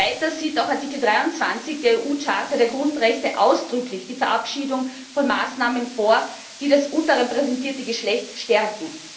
Weiters sieht auch Artikel 23 der EU Charta der Grundrechte ausdrücklich die Verabschiedung von Maßnahmen vor, die das unterrepräsentierte Geschlecht stärken.